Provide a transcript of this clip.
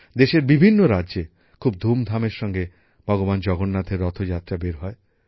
দেশের বিভিন্ন রাজ্যে খুব ধুমধামের সঙ্গে ভগবান জগন্নাথের রথযাত্রা বের হয়